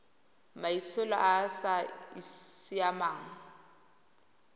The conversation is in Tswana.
maitsholo a a sa siamang